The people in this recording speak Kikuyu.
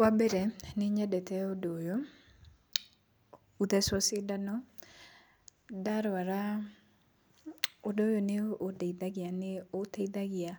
Wambere nĩnyendete ũndũ ũyũ, gũthecwo cindano. Ndarwara ũndũ ũyũ nĩũndeithagia nĩũteithagia